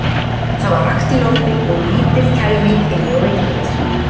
Það var rakt í lofti og lítil kæling inni í veitingahúsinu.